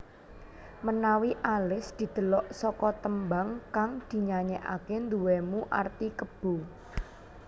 Menawi alis didelok saka tembang kang dinyayekake nduwenu arti kebo